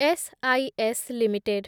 SIS limited